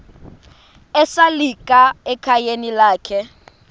esalika ekhayeni lakhe